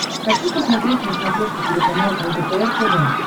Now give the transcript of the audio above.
хочу посмотреть на смотрешке телеканал лдпр тв